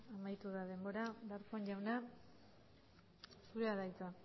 amaitu da denbora darpón jauna zurea da hitza